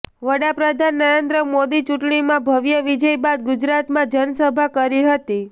વડા પ્રધાન નરેન્દ્ર મોદી ચૂંટણીમાં ભવ્ય વિજય બાદ ગુજરાતમાં જનસભા કરી હતી